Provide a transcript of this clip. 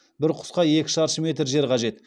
бір құсқа екі шаршы метр жер қажет